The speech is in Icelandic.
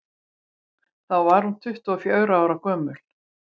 þá var hún tuttugu og fjögurra ára gömul